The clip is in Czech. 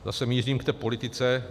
Zase mířím k té policie.